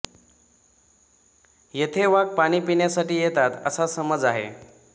येथे वाघ पाणी पिण्यासाठी येतात असा समज आहे